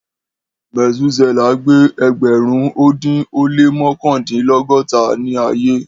Metusela gbé ẹẹdẹgbẹrun ọdún ó lé mọkandinlọgọta ni ayé